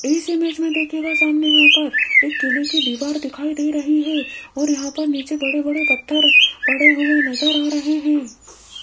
इस इमेज में देखिएगा सामने यहां पर एक किले की दीवार दिखाई दे रही है और यहां पर नीचे बड़े बड़े पत्थर पड़े हुए नजर आ रहे हैं।